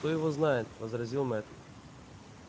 кто его знает возразил мэтт